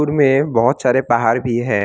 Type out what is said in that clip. में बहुत सारे पहाड़ भी हैं।